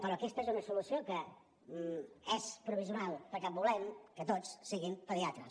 però aquesta és una solució que és provisional perquè volem que tots siguin pediatres